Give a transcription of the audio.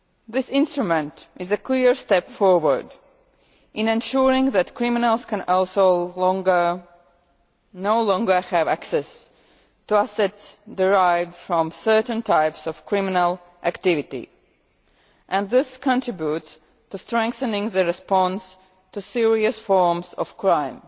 This instrument is a clear step forward in ensuring that criminals can no longer have access to assets derived from certain types of criminal activity, and this contributes to strengthening the response to serious forms of crime.